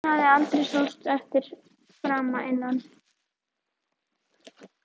Hann hafði aldrei sóst eftir frama innan